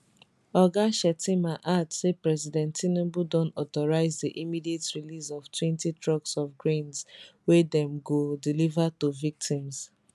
oga shettima add say president tinubu don authorise di immediate release oftwentytrucks of grains wey dem go deliver to victims